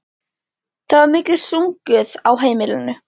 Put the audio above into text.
Það var mikið sungið á heimilinu.